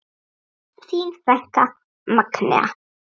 Þín frænka, Magnea.